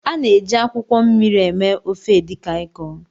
A na-eji akwụkwọ mmiri eme ofe Edikang ikong.